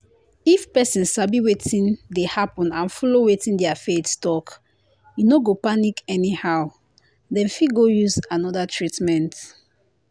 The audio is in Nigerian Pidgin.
if person sabi wetin dey happen and follow wetin their faith talk e no go panic anyhow. dem fit go use another treatment.